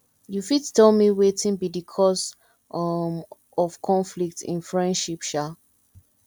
you fit tell me wetin be di cause um of conflict in friendship um